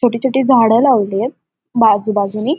छोटी छोटी झाडं लावली ऐत बाजूबाजूनी.